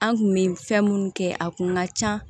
An kun me fɛn munnu kɛ a kun ka ca